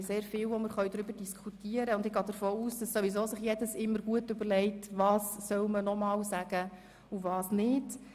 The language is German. Wir haben vieles, worüber wir diskutieren können, und ich gehe davon aus, dass sich alle immer sehr gut überlegen, was sie nochmals sagen wollen und was nicht.